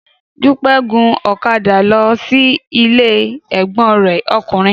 Dúpẹ́ gun ọ̀kadà lọ sí ilé ẹ̀gbọ́n rẹ̀ ọkùnrin